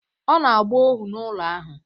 Ọ na-agba ohu n’ụlọ ahụ